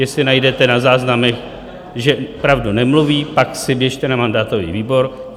Jestli najdete na záznamech, že pravdu nemluví, pak si běžte na mandátový výbor.